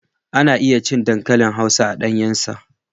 Ana iya cin dankalin hausa a ɗanyen sa.